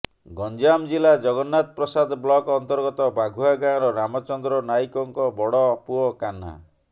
ଗଞ୍ଜାମ ଜିଲ୍ଲା ଜଗନ୍ନାଥପ୍ରସାଦ ବ୍ଲକ ଅନ୍ତର୍ଗତ ବାଘୁଆ ଗାଁର ରାମଚନ୍ଦ୍ର ନାଇକଙ୍କ ବଡ ପୁଅ କାହ୍ନା